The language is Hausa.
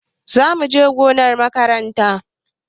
Za mu je gonar makaranta.